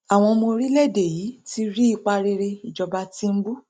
àwọn ọmọ orílẹèdè yìí ti ń rí ipa rere ìjọba tìǹbù